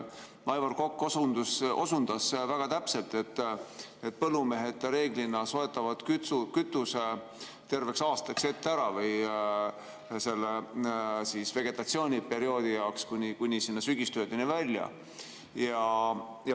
Aivar Kokk osundas väga täpselt, et põllumehed reeglina soetavad kütuse terveks aastaks ette ära, või selle vegetatsiooniperioodi jaoks kuni sügistöödeni välja.